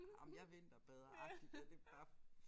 Jamen jeg vinterbader agtigt og det gør